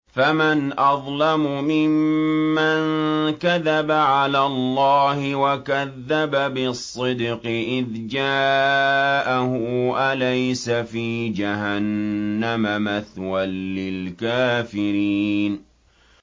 ۞ فَمَنْ أَظْلَمُ مِمَّن كَذَبَ عَلَى اللَّهِ وَكَذَّبَ بِالصِّدْقِ إِذْ جَاءَهُ ۚ أَلَيْسَ فِي جَهَنَّمَ مَثْوًى لِّلْكَافِرِينَ